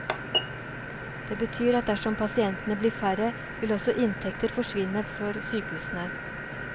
Det betyr at dersom pasientene blir færre, vil også inntekter forsvinne for sykehusene.